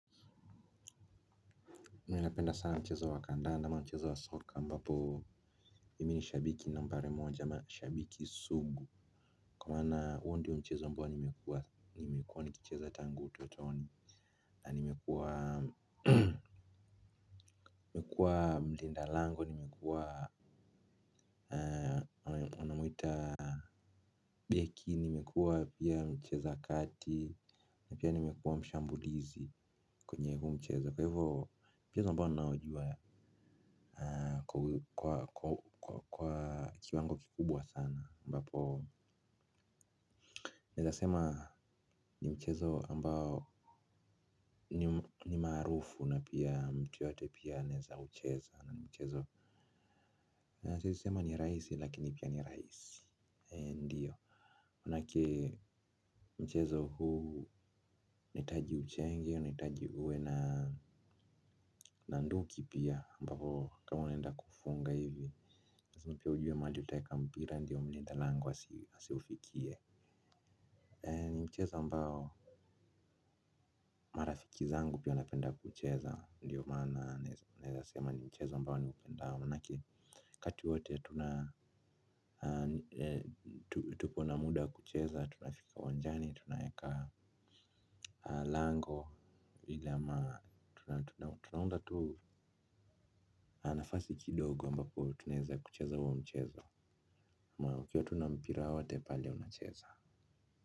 Mimi napenda sana mchezo wa kandanda ama mchezo wa soka ambapo mimi ni shabiki nambari moja na shabiki sugu kwa maana huo ndiyo mchezo ambao nimekuwa nikicheza tangu utotoni. Na nimekuwa mlinda lango nimekuwa wanamwita beki, nimekuwa pia mcheza kati na pia nimekuwa mshambulizi kwenye huu mchezo kwa hivyo mchezo ambao naojuwa kwa kiwango kikubwa sana ambapo naweza sema ni mchezo ambao ni maarufu na pia mtu yeyote pia anaweza kucheza na ni mchezo naweza sema ni raisi lakini pia nirahisi. Ndiyo, maana yake mchezo huu unahitaji uchenge, nahitaji uwe na nduki pia ambapo kama wanenda kufunga hivi, ndiyo pia ujue mahali utaweka mpira ndiyo mlinda lango asiufikie. Ni mchezo ambao marafiki zangu pia wanapenda kucheza ndiyo maana naweza sema ni mchezo ambao niupendao maana yake wakati wote tupo na muda wa kucheza, tunafika uwanjani, tunaweka lango vile ama tunaunda tu nafasi kidogo ambapo tunaweza kucheza huo mchezo. Ukiwa tu na mpira wowote pale tunacheza.